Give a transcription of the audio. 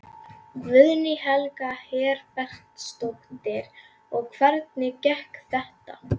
Guðný Helga Herbertsdóttir: Og hvernig gekk þetta?